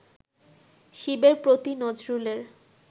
শিবের প্রতি নজরুলের